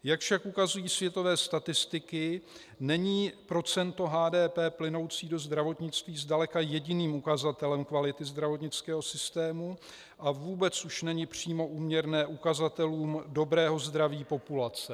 Jak však ukazují světové statistiky, není procento HDP plynoucí do zdravotnictví zdaleka jediným ukazatelem kvality zdravotnického systému a vůbec už není přímo úměrné ukazatelům dobrého zdraví populace.